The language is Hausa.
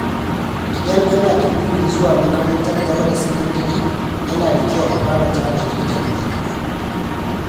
Idan ana da burin zuwa makarantar gaba da sakandare, yana da kyau a fara tanadi da wuri.